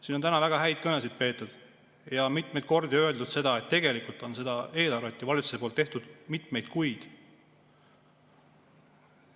Siin on täna väga häid kõnesid peetud ja mitmeid kordi öeldud, et tegelikult on valitsus seda eelarvet teinud ju mitmeid kuid.